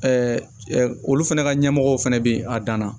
olu fana ka ɲɛmɔgɔw fɛnɛ bɛ a danna